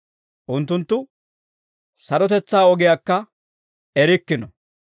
Unttunttu sarotetsaa ogiyaakka erikkino.